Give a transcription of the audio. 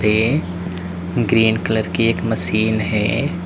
ये green colour की एक मशीन है।